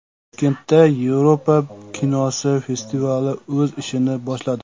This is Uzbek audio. Toshkentda Yevropa kinosi festivali o‘z ishini boshladi.